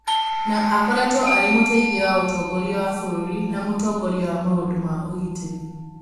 Nĩ aakoretwo arĩ mũteithia wa mũtongoria wa bũrũri na mũtongoria wa maũndũ ma ũgitĩri.